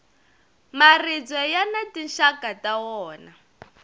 maribye yani tinxaka ta wona